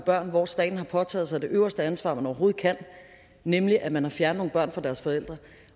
børn hvor staten har påtaget sig det øverste ansvar man overhovedet kan nemlig at man har fjernet nogle børn fra deres forældre